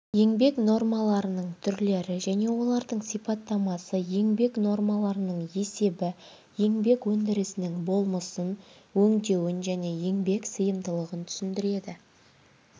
еңбек нормаларының түрлері және олардың сипаттамасы еңбек нормаларының есебі еңбек өндірісінің болмысын өңдеуін және еңбек сыйымдылығын тұсіндіреді